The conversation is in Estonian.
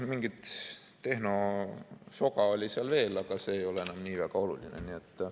Mingit tehnosoga oli seal veel, aga see ei ole enam nii väga oluline.